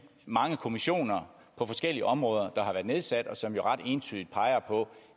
mange kommissioner på forskellige områder der har været nedsat og som jo ret entydigt peger på